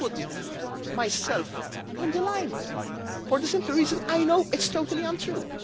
I put myself on the line, for the simple reason I know it is totally untrue.